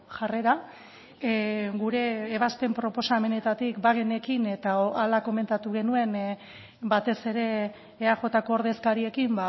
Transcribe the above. jarrera gure ebazpen proposamenetatik bagenekin eta hala komentatu genuen batez ere eajko ordezkariekin